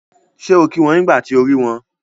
Ṣé o kí wọn nígbà tí o rí wọn?